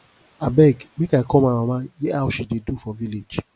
abeg make i call my mama hear how she dey do for village